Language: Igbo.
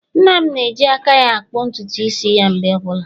Nna'm na-eji aka ya-akpụ ntutu isi ya mgbe ọbụla.